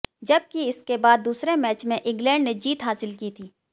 जब कि इसके बाद दूसरे मैच में इंग्लैंड ने जीत हासिल की थी